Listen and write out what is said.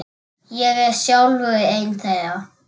Ég er sjálfur einn þeirra.